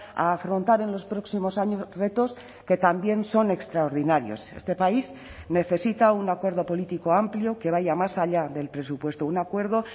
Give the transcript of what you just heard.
a afrontar en los próximos años retos que también son extraordinarios este país necesita un acuerdo político amplio que vaya más allá del presupuesto un acuerdo